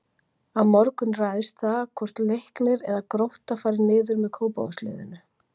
Á morgun ræðst það hvort Leiknir eða Grótta fari niður með Kópavogsliðinu.